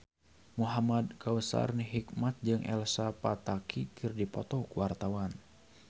Muhamad Kautsar Hikmat jeung Elsa Pataky keur dipoto ku wartawan